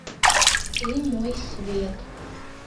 ты мой свет